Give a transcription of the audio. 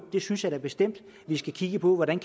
det synes jeg da bestemt at vi skal kigge på hvordan